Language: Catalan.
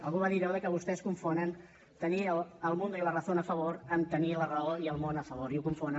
algú va dir allò de que vostès confonen tenir el mundo y la razón a favor amb tenir la raó i el món a favor i ho confonen